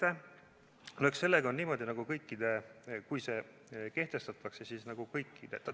Eks sellega, kui see kehtestatakse, ole nii, nagu on kõikide.